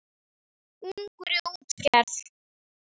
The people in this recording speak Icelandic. Ungur í útgerð